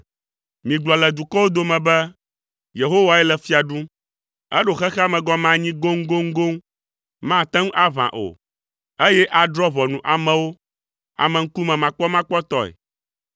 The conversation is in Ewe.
Migblɔ le dukɔwo dome be, “Yehowae le fia ɖum.” Eɖo xexea me gɔme anyi goŋgoŋgoŋ, mate ŋu aʋã o; eye adrɔ̃ ʋɔnu amewo ameŋkumemakpɔmakpɔtɔe.